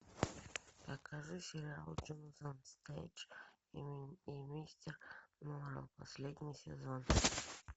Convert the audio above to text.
покажи сериал джонатан стрендж и мистер норрелл последний сезон